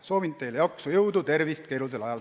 Soovin teile jaksu, jõudu ja tervist keerulisel ajal!